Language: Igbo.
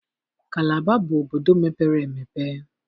Kalaba bụ obodo mepere emepe